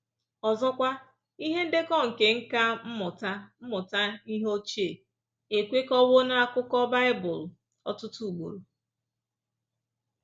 Ọzọkwa, ihe ndekọ nke nkà mmụta mmụta ihe ochie ekwekọwo n’akụkọ Bible ọtụtụ ugboro.